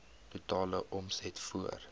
totale omset voor